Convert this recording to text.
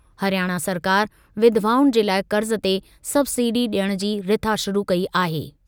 हरियाणा सरकार विधवाउनि जे लाइ क़र्ज़ ते सबसिडी ॾियण जी रिथा शुरू कई आहे।